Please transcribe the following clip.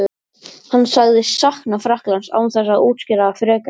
Hann sagðist sakna Frakklands án þess að útskýra það frekar.